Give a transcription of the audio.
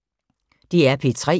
DR P3